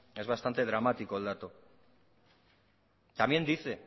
es bastante dramático el dato también dice